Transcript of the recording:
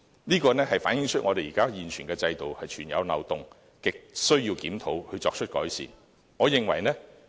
這反映出我們現有制度存有漏洞，亟需要檢討，作出改善。